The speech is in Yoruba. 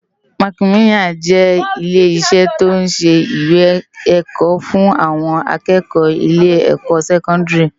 Mákimilán jè ilé isè tó n sé iwé èkò fun áwòn ákëkò ilè èkò sèkòndári